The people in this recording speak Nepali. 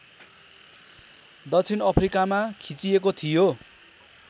दक्षिण अफ्रिकामा खिचिएको थियो